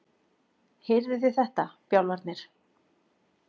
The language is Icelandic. Heyrðuð þið þetta, bjálfarnir?